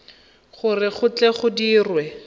gore go tle go dirwe